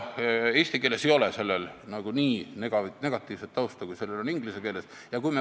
Eesti keeles ei ole sellel sõnal nii negatiivset tausta, kui on inglise keeles.